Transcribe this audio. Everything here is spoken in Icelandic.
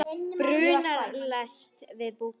Brunar lest til Búkarest